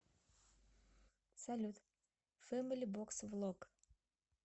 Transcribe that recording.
салют фэмили бокс влог